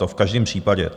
To v každém případě.